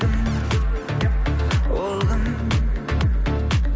кім ол кім